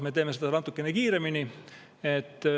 Meie teeme seda natukene kiiremini.